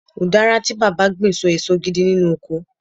udara ti baba gbin so eso gidi nínú ọkọ